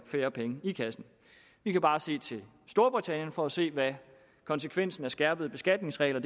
færre penge i kassen vi kan bare se til storbritannien for at se hvad konsekvensen af skærpede beskatningsregler